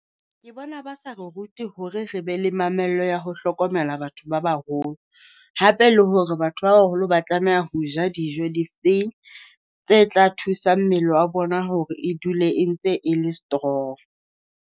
Ke bona ba sa re rute hore re be le mamello ya ho hlokomela batho ba baholo, hape le hore batho ba baholo ba tlameha ho ja dijo difeng tse tla thusa mmele wa bona hore e dule e ntse e le strong.